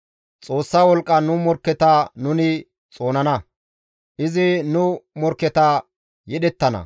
Xoossa wolqqan nu morkketa nuni xoonana; izi nu morkketa yedhettana.